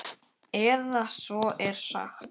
Eða svo er sagt.